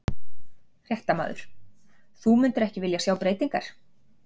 Fréttamaður: Þú myndir ekki vilja sjá breytingar?